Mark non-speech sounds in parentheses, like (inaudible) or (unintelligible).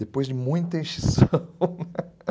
Depois de muita (laughs) (unintelligible)